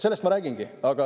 Sellest ma räägingi.